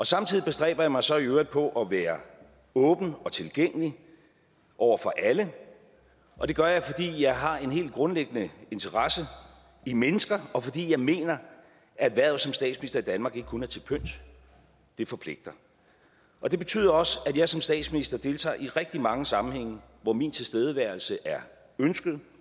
samtidig bestræber jeg mig så i øvrigt på at være åben og tilgængelig over for alle og det gør jeg fordi jeg har en helt grundlæggende interesse i mennesker og fordi jeg mener at hvervet som statsminister i danmark ikke kun er til pynt det forpligter og det betyder også at jeg som statsminister deltager i rigtig mange sammenhænge hvor min tilstedeværelse er ønsket